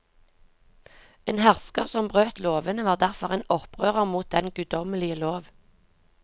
En hersker som brøt lovene var derfor en opprører mot den guddommelige lov.